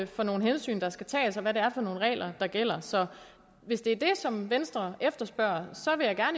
for nogle hensyn der skal tages og hvad det er for nogle regler der gælder så hvis det er det som venstre efterspørger